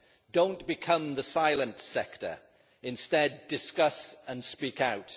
Don't become the silent sector, instead discuss and speak out.